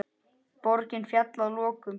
Borgin féll að lokum.